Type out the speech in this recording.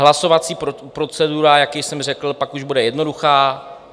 Hlasovací procedura, jak již jsem řekl, pak už bude jednoduchá.